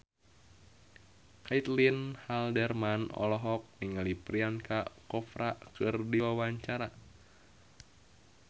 Caitlin Halderman olohok ningali Priyanka Chopra keur diwawancara